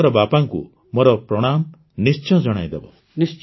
ଆପଣଙ୍କର ବାପାଙ୍କୁ ମୋର ପ୍ରଣାମ ନିଶ୍ଚୟ ଜଣାଇଦେବ